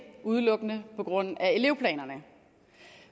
udelukkende på grund af elevplanerne